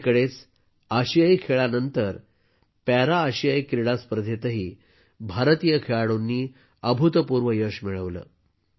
अलीकडेच आशियाई खेळांनंतर पॅरा आशियाई क्रीडा स्पर्धेतही भारतीय खेळाडूंनी अभूतपूर्व यश मिळवले आहे